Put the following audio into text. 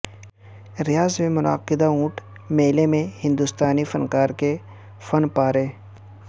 ریاض میں منعقدہ اونٹ میلے میں ہندوستانی فنکار کے فن پارے